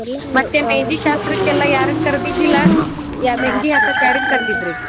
ಮತ್ತೆ मेहदी ಶಾಸ್ತ್ರಕ್ಕ ಎಲ್ಲಾ ಯಾರನ್ನ ಕರೆದಿದ್ದಿಲ್ಲಾ मेहदी ಹಾಕಾಕ ಯಾರನ್ನ ಕರ್ದಿದ್ರಿ?